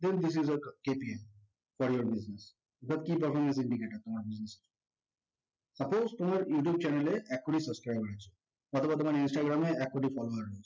then this is aKPIfor your business বা key performance indicator তোমার business এর suppose তোমার youtube channel এ এক কোটি subscriber আছে অথবা তোমার instagram এ এক কোটি follower আছে